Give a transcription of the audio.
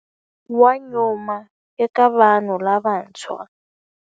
Wa nyuma eka vanhu lavantshwa.